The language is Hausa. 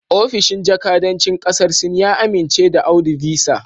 Ofishin jakadancin kasar Sin ya amince da Audu Visa